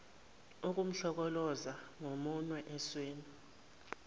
ukumhlokoloza ngomunwe esweni